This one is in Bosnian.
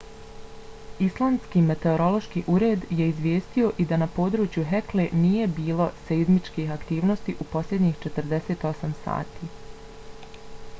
islandski meteorološki ured je izvijestio i da na području hekle nije bilo seizmičkih aktivnosti u posljednjih 48 sati